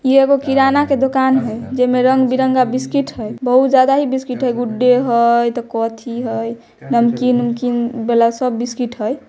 इ एगो किराना के दुकान हई जेमे रंग-बिरंग के बिस्कुट हई बहुत ज्यादा ही बिस्किट हई गुडे हई नमकीन-उमकिन वाला सब बिस्कुट हेय।